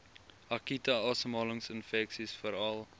akute asemhalingsinfeksies veral